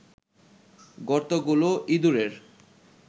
গর্তগুলো ইঁদুরের